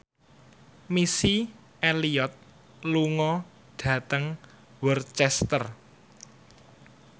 Missy Elliott lunga dhateng Worcester